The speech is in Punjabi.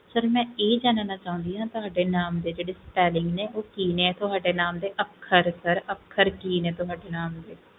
sir ਮੈਂ ਇਹ ਜਾਨਣਾ ਚਾਹੁਣੀ ਆ ਤੁਹਾਡੇ ਨਾਮ ਦੇ ਜਿਹੜੇ spelling ਉਹ ਕਿ ਨੇ ਅੱਖਰ sir ਅੱਖਰ ਕਿ ਨੇ ਤੁਹਾਡੇ ਨਾਮ ਦੇ